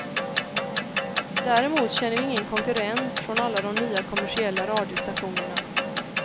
Däremot känner vi ingen konkurrens från alla de nya kommersiella radiostationerna.